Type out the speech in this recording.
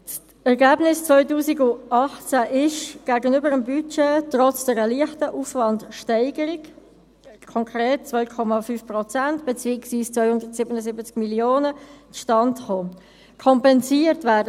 Das Ergebnis 2018 ist, gegenüber dem Budget, trotz einer leichten Aufwandsteigerung – konkret 2,5 Prozent beziehungsweise 277 Mio. Franken – zustande gekommen.